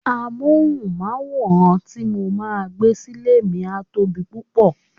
Amohunmaworan ti mo máa gbé sile mi a tóbi púpò.